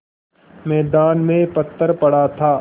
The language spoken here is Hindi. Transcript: मैदान में पत्थर पड़ा था